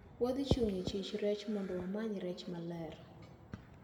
Wadhichung` e chich rech mondo wamany rech maler.